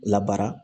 Labara